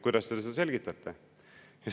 Kuidas te seda selgitate?